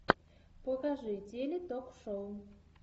покажи теле ток шоу